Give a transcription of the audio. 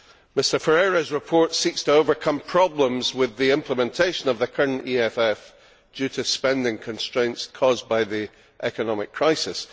Mr Ferreira's report seeks to overcome problems with the implementation of the current EFF due to spending constraints caused by the economic crisis.